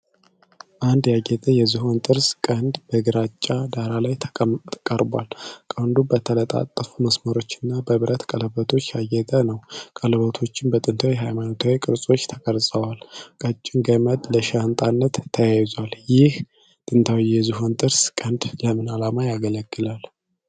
አንድ ያጌጠ የዝሆን ጥርስ ቀንድ በግራጫ ዳራ ላይ ቀርቧል። ቀንዱ በተጠላለፉ መስመሮች እና በብረት ቀለበቶች ያጌጠ ነው። ቀለበቶቹም በጥንታዊ ሃይማኖታዊ ቅርጾች ተቀርጸዋል። ቀጭን ገመድ ለሻንጣነት ተያይዟል። ይህ ጥንታዊ የዝሆን ጥርስ ቀንድ ለምን ዓላማ ያገለግል ነበር?